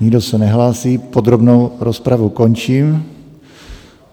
Nikdo se nehlásí, podrobnou rozpravu končím.